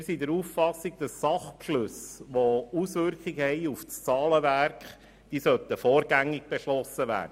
Wir sind der Auffassung, Sachbeschlüsse, die Auswirkungen auf das Zahlenwerk haben, sollten vorgängig beschlossen werden.